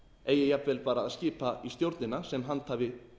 eigi jafnvel bara að skipa í stjórnina sem handhafi